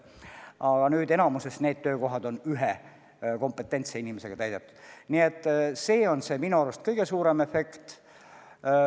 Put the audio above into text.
Aga nüüd on enamikus need töökohad ühe kompetentse inimesega täidetud ja see on minu arust kõige suurem efekt.